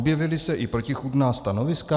Objevila se i protichůdná stanoviska?